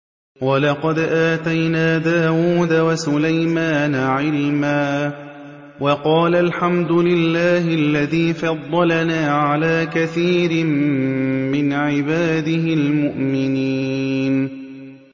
وَلَقَدْ آتَيْنَا دَاوُودَ وَسُلَيْمَانَ عِلْمًا ۖ وَقَالَا الْحَمْدُ لِلَّهِ الَّذِي فَضَّلَنَا عَلَىٰ كَثِيرٍ مِّنْ عِبَادِهِ الْمُؤْمِنِينَ